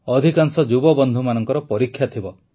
ଅଧିକାଂଶ ଯୁବବନ୍ଧୁମାନଙ୍କର ପରୀକ୍ଷା ଥିବ